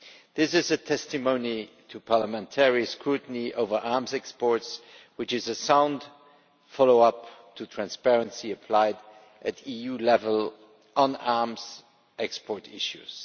This is a testimony to parliamentary scrutiny over arms exports, which is a sound follow up to transparency applied at EU level on arms export issues.